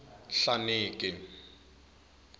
nhlaneki